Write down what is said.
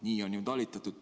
Nii on ju talitatud.